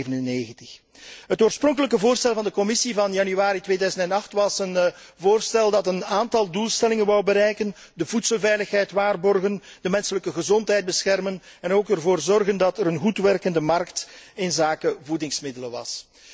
1997. Het oorspronkelijke voorstel van de Commissie van januari 2008 was een voorstel dat een aantal doelstellingen wou bereiken de voedselveiligheid waarborgen, de menselijke gezondheid beschermen en ook te zorgen voor een goed werkende markt inzake voedingsmiddelen was.